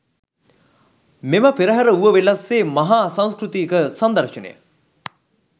මෙම පෙරහර ඌවවෙල්ලස්සේ මහා සංස්කෘතික සංදර්ශනය